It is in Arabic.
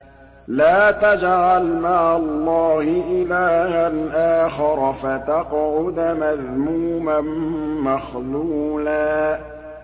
لَّا تَجْعَلْ مَعَ اللَّهِ إِلَٰهًا آخَرَ فَتَقْعُدَ مَذْمُومًا مَّخْذُولًا